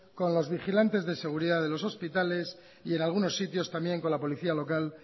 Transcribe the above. con los vigilantes de seguridad de los hospitales y algunos sitios también con la policía local